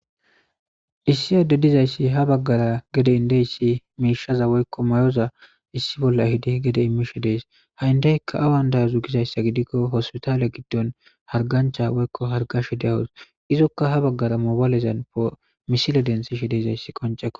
issi ade dizayssi ha baggara gede indeyssi miishaza woykko mayoza issi bolla hidi gede imishe dees ha indeykka awan daazu gizayssa gidikko hospitaale giddon hargancha woykko hargashe deyawus izokka ha baggara moobaalezan omisile densishe deizayssi koncekko